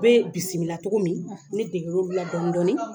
U be bisimila togo min, ne degera olu la dɔɔni dɔɔni